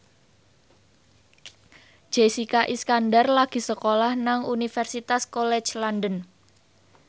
Jessica Iskandar lagi sekolah nang Universitas College London